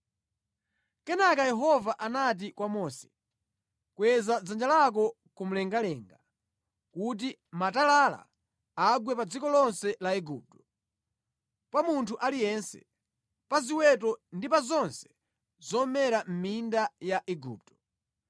Kenaka Yehova anati kwa Mose, “Kweza dzanja lako kumwamba kuti matalala agwe pa dziko lonse la Igupto, pa munthu aliyense, pa ziweto ndi pa zonse zomera mʼminda ya Igupto.”